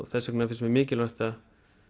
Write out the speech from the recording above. þess vegna finnst mér mikilvægt að